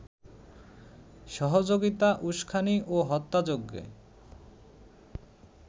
সহযোগিতা, উস্কানি ও হত্যাযজ্ঞে